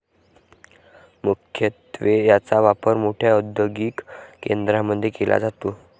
मुख्यत्वे याचा वापर मोठ्या औदयोगिक केंद्रामध्ये केला जातो.